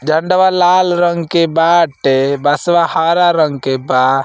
झंडवा लाल रंग के बाटे। बाँसवा हरा रंग के बा।